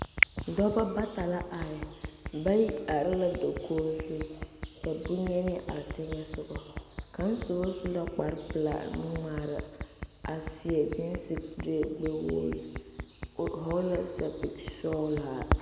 Dɔbɔ bata la are bayi are la dokoge zu ka bonyenee are teŋɛsugɔ kaŋ sobɔ su la kparepelaa nu ngmaara a seɛ gyeese kuree gbɛ wogre o hɔɔle la sɛpil sɔglaa.